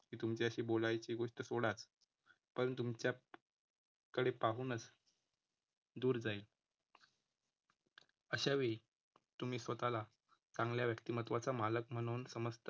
ती तुमच्याशी बोलायची गोष्ट सोडाचं. पण तुमच्या कडे पाहूनचं दूर जाईल. अशावेळी तुम्ही स्वतःला चांगल्या व्यक्तिमत्त्वाचा मालक म्हणून समजता.